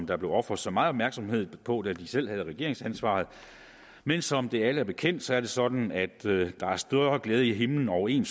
der blev ofret så meget opmærksomhed på da de selv havde regeringsansvaret men som det er alle bekendt er det sådan at der er større glæde i himlen over en